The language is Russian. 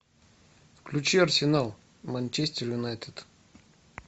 включи арсенал манчестер юнайтед